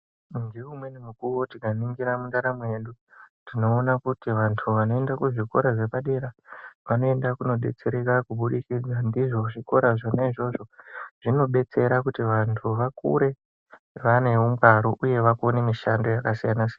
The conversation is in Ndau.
Ngeumweni mukuwo tikaningira mundaramo yedu tinoona kuti vantu vanoenda kuzvikora zvepadera vanoenda kunodetsereka kubudikidza ndizvo zvikora zvona izvozvo. Zvinodetsera kuti vantu vakure vane ungwaru uye vakone mishando yakasiyana siyana.